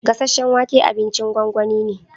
Gasasen wake abincin gongoni ne.